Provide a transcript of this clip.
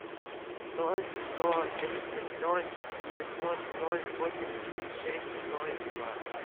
ноль сто тридцать ноль девятьсот ноль восемьдесят шесть ноль два